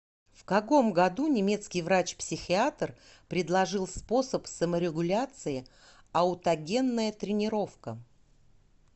в каком году немецкий врач психиатр предложил способ саморегуляции аутогенная тренировка